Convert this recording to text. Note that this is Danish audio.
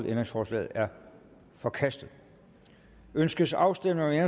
ændringsforslaget er forkastet ønskes afstemning